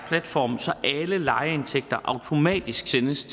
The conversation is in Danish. platform så alle lejeindtægter automatisk sendes